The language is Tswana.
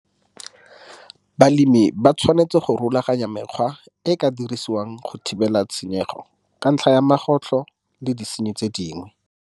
Balemi ba tshwanetse go rulaganya mekgwa e e ka dirisiwang go thibela tshenyego ka ntlha ya magotlho le disenyi tse dingwe.